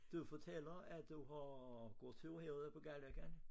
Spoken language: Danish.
Du fortæller at du har gået ture herude på Galløkken